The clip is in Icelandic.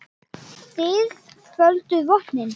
Þið földuð vopnin.